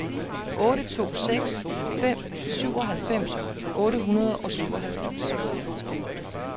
otte to seks fem syvoghalvfems otte hundrede og syvoghalvfems